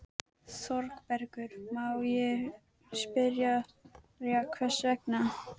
ÞÓRBERGUR: Má ég spyrja hvers vegna?